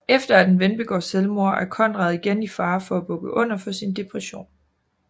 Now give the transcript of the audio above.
Efter at en ven begår selvmord er Conrad igen i fare for at bukke under for sin depression